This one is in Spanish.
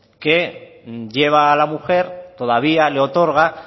que lleva a la mujer todavía le otorga